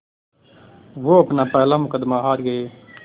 वो अपना पहला मुक़दमा हार गए